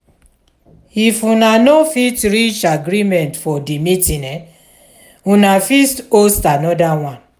if una no fit reach agreement for di meeting una fit host anoda one